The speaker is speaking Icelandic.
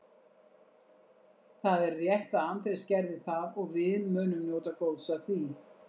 Það er rétt að Andrés gerði það og við munum njóta góðs af því.